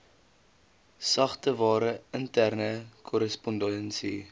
sagteware interne korrespondensie